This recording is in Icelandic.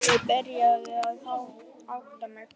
Ég byrjaði að átta mig.